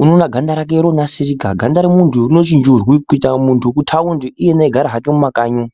unowona ganda rake ronasirika. Ganda romuntu rinochinjurwe kuyita muntu wekuthawundi, iyena egara hake mumakanyi umu.